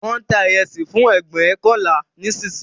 Wón ń ta ìrẹsì fún ẹgbóokànlá nísìnyí